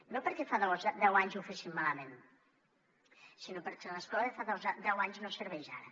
no perquè fa deu anys ho féssim malament sinó perquè l’escola de fa deu anys no serveix ara